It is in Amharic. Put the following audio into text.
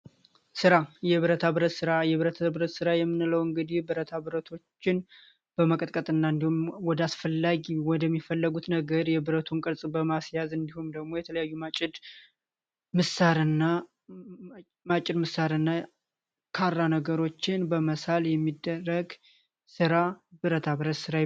ስራ የብረታ ብረት ራ የብረተሰብ ስራ የምንለው እንግዲህ ብረታ ብረቱን በመቀጠልና እንዲሁም ወደ አስፈላጊ ወደሚፈለጉት ነገር የብረቱን በማስያዝ እንዲሁም ደግሞ የተለያዩ መሳሪያ ነገሮችን በመሳል የሚደረግ ራ ብረታ ብረ